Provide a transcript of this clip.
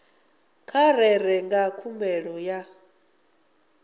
vha rere nga khumbelo ya